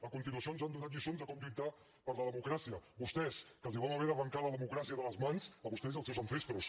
a continuació ens han donat lliçons de com lluitar per la democràcia vostès que els vam haver d’arrancar la democràcia de les mans a vostès i als seus ancestros